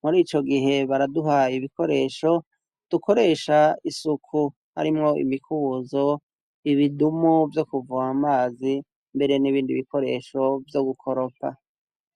muri ico gihe baraduhaye ibikoresho tukoresha isuku harimwo inikubuzo ibidumu vyo kuvoma amazi mbere n'ibindi bikoresho vyo gukoropa